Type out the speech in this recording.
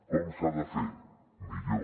com s’ha de fer millor